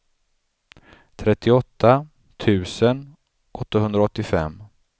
trettioåtta tusen åttahundraåttiofem